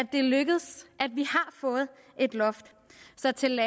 det er lykkedes at få et loft så til